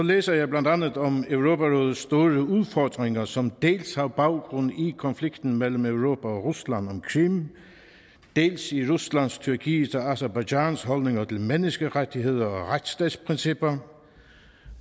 læser jeg blandt andet om europarådets store udfordringer som dels har baggrund i konflikten mellem europa og rusland om krim dels i ruslands tyrkiets og aserbajdsjans holdninger til menneskerettigheder og retsstatsprincipper